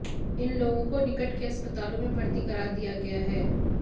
इन लोगों को निकट के अस्पतालों में भर्ती करा दिया गया है